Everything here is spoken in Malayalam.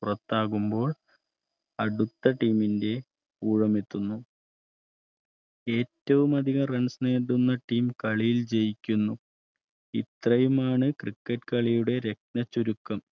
പുറത്താകുമ്പോൾ അടുത്ത Team ന്റെ ഊഴം എത്തുന്നു ഏറ്റവും കൂടുതൽ Runs നേടുന്ന Team കളിയിൽ ജയിക്കുന്നു ഇത്രയുമാണ് cricket കളിയുടെ രത്ന ചുരുക്കം